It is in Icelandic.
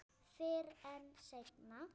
Fyrr en seinna.